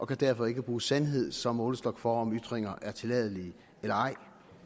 kan derfor ikke bruge sandheden som målestok for om ytringer er tilladelige eller ej